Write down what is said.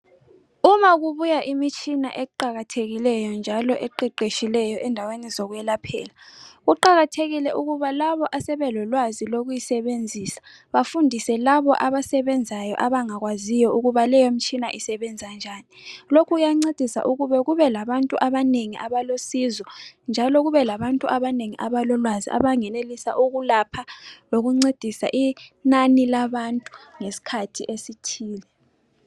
Uma kubuya imitshini eqakathekileyo njalo eqeqetshikeyo endaweni zokwelaphela kuqakathekile ukuba labo asebelolwazi lokuyisebenzisa bafundise labo abasebenzayo abangakwaziyo ukuba leyi mtshina isebenza njani. Lokhu kuyancedisa ukuba kube labantu abanengi abalosizo labantu abanengi abalolwazi abangenelisa ukulapha lokuncedisa inani labantu ngesikhathi esithile.